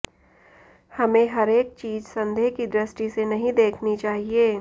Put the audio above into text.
हमें हरेक चीज संदेह की दृष्टि से नहीं देखनी चाहिए